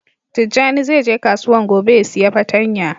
Tijani zai je kasuwan gobe ya siya patanya.